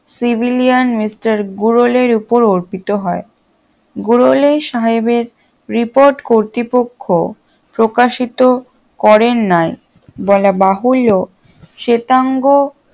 civilian mister গোরলের ওপর অর্পিত হয় গোরলে সাহেবের প্রিপত কর্তৃপক্ষ প্রকাশিত করের ন্যায় বলা বাহুল্য শ্বেতাঙ্গ